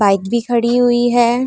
Bike भी खड़ी हुई है।